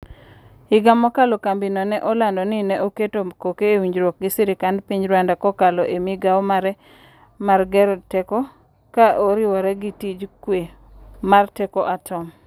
Higa mokalo kambino ne olando ni ne oketo koke ewinjruok gi sirkand piny Rwanda kokalo e migao mare mar gero teko ka oriwore gi tij kwe mar teko atom.